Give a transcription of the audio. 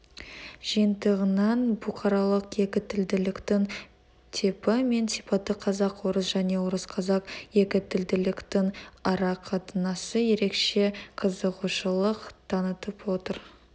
жиынтығынан бұқарлық екітілділіктің типі мен сипаты қазақ-орыс және орыс-қазақ екітілділіктің арақатынасы ерекше қызығушылық танытып отыр